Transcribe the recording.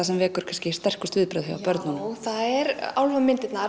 sem vekur kannski sterkust viðbrögð hjá börnunum já það eru álfamyndirnar